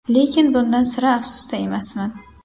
Lekin bundan sira afsusda emasman.